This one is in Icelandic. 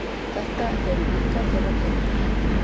Þetta eru líka þeirra peningar